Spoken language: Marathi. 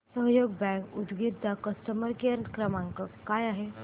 सहयोग बँक उदगीर चा कस्टमर केअर क्रमांक काय आहे